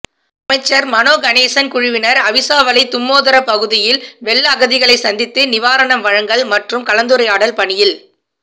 அமைச்சர் மனோ கணேசன் குழுவினர் அவிசாவளை தும்மோதர பகுதியில் வெள்ள அகதிகளை சந்தித்து நிவாரணம் வழங்கள் மற்றும் கலந்துரையாடல் பணியில்